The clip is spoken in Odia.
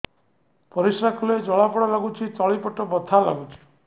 ପରିଶ୍ରା କଲେ ଜଳା ପୋଡା ଲାଗୁଚି ତଳି ପେଟ ବଥା ଲାଗୁଛି